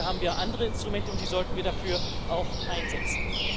Dafür haben wir andere Instrumente und die sollten wir dafür auch einsetzen.